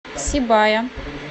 сибая